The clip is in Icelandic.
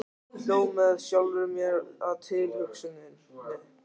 Hló með sjálfri mér að tilhugsuninni.